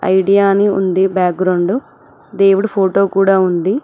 Idea అని ఉంది background దేవుడు ఫోటో కూడా ఉంది.